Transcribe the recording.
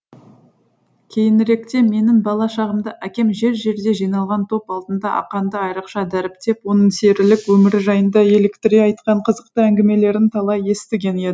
кейініректе менің бала шағымда әкем жер жерде жиналған топ алдында ақанды айрықша дәріптеп оның серілік өмірі жайында еліктіре айтқан қызықты әңгімелерін талай естіген